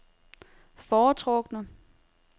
foretrukne